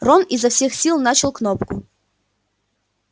рон изо всех сил начал кнопку